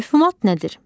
Mövhumat nədir?